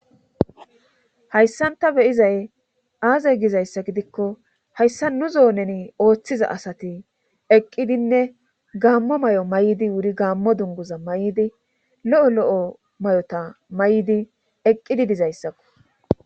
hayssanta beyizay aaze gizayssa gidikko hayssa nu zoo neni ooththiza asati eqqidinne gaammo may7o may7di wuri gaammo dunguza may7di lo7o lo7o may7ota may7di eqqidi dizayssakko